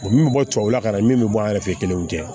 O min bɛ bɔ tubabula ka na min bɛ bɔ a yɛrɛ fɛ yen kelen tɛ